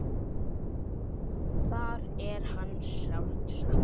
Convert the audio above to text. Þar er hans sárt saknað.